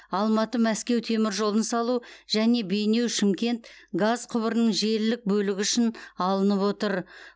алматы мәскеу теміржолын салу және бейнеу шымкент газ құбырының желілік бөлігі үшін алынып отыр